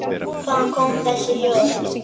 Hvaðan koma þessi hljóð?